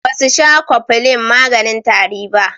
Basu sha cofflin maganin tari ba.